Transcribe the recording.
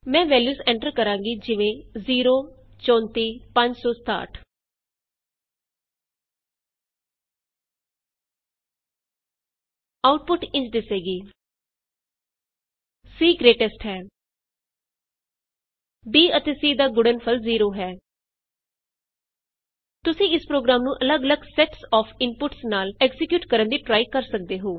ਮੈਂ values enter ਕਰਾਂਗੀ ਜਿਵੇਂ ਆਉਟਪੁਟ ਇੰਝ ਦਿਸੇਗੀ160 c ਗਰੇਟੇਸਟ ਹੈ ਸੀ ਆਈਐਸ ਗ੍ਰੇਟੈਸਟ b ਅਤੇ c ਦਾ ਗੁਣਨਫਲ ਜ਼ੀਰੋ ਹੈ the product of A B and C is zero ਤੁਸੀਂ ਇਸ ਪ੍ਰੋਗਰਾਮ ਨੂੰ ਅੱਲਗ ਅੱਲਗ ਸੈਟਸ ਆਫ ਇਨਪੁਟਸ ਨਾਲ ਐਕਜ਼ੀਕਿਯੂਟ ਕਰਨ ਦੀ ਟਰਾਈ ਕਰ ਸਕਦੇ ਹੋ